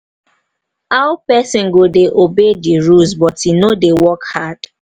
how person go dey obey the rules but e no dey work hard?